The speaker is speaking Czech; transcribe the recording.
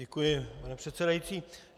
Děkuji, pane předsedající.